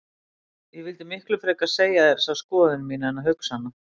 Ég vildi miklu frekar segja þér þessa skoðun mína en hugsa hana.